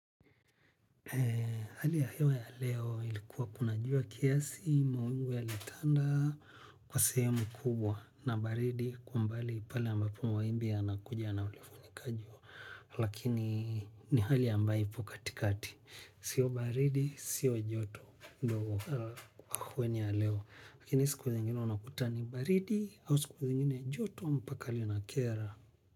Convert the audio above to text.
Hali ya hiyo ya leo ilikuwa kuna jua kiasi mawingu yalitanda kwa sehemu kubwa na baridi kwa mbali pale ambapo mawimbi yanakuja na kulifunika jua. Lakini ni hali ambayo ipo katikati. Sio baridi, sio joto ndio hewa ya leo. Lakini siku zingine unakuta ni baridi ama siku zingine joto mpaka linakera.